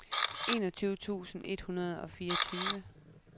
enogtyve tusind et hundrede og fireogtyve